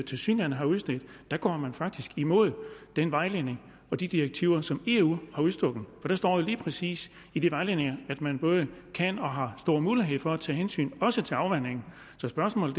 tilsyneladende har udstedt går man faktisk imod den vejledning og de direktiver som eu har udstukket for der står jo lige præcis i de vejledninger at man både kan og har stor mulighed for at tage hensyn også til afvanding så spørgsmålet